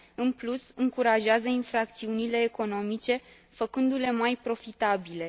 În plus, încurajează infracțiunile economice, făcându le mai profitabile.